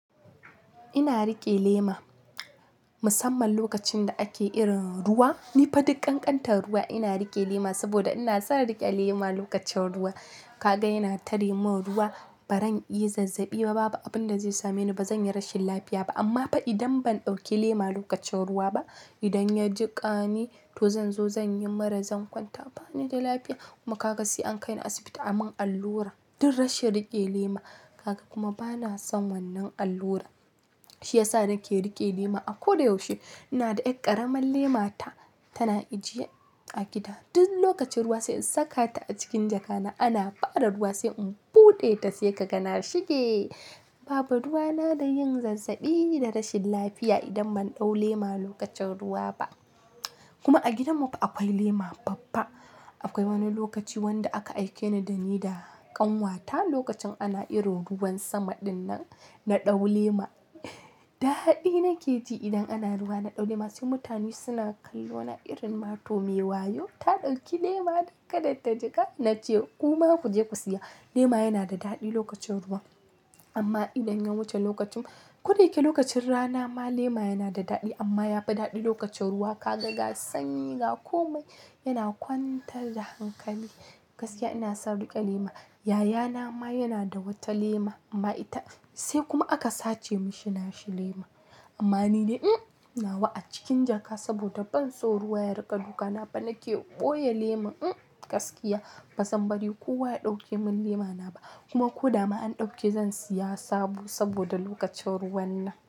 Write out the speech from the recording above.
Ina riƙe lema musamman lokacin da ake irin ruwa. Ni fa dukkan kantar ruwa ina riƙe lema saboda ina son riƙe lema lokacin ruwa. Kaga ina tari mun ruwa baran iya zazzabi ba, babu abin da zai same ni ba, zan yi rashin lafiya ba. Amma fa idan ban ɗauki lema lokacin ruwa ba, idan ya jiƙani to zan zo zan yi mura, zan kwanta bani da lafiya. Kuma kaka sai an kai ni asibiti aman allura don rashin riƙe lema. Kaka kuma bana son wannan allura. Shi ya sa nake riƙe lema a koda yaushe. Ina da ɗaya ƙaramar lemata tana ajiye a gida. Duk lokacin ruwa sai in saka ta a cikin jaka na, ana fara ruwa sai in buɗe ta sai ka ga na shige. Babu ruwa na da yin zazzabi da rashin lafiya idan ban ɗau lema lokacin ruwa ba. Kuma a gidanmu akwai lema babba. Akwai wani lokaci wanda aka aike ni da ni da ƙanwata lokacin ana irin ruwan sama dinnan na ɗau lema. Dadi nake ji idan ana ruwa na ɗau lema. Sai mutane suna kallo na irin matu mewa. "Yau ta ɗauki lema don kada ta jiƙa." Na ce kuma ku je ku siya. Lema yana da daɗi lokacin ruwa. Amma idan ya wuce lokacin, ko da yake lokacin rana ma lema yana da daɗi amma yafi daɗi lokacin ruwa. Ka ga ga sanyi, ga komai yana kwantar da hankali. Gaskiya ina son riƙe lema. Yayana ma yana da wata lema amma ita sai kuma aka sace mashi nashi lema. Amma ni ne nawa a cikin jaka saboda ban so ruwa ya riƙe duka napa nake ɓoye lema. Gaskiya bazan bari kowa ya ɗauke mun lema na ba. Kuma ko dama an ɗauke zan siya sabo saboda lokacin ruwan nan.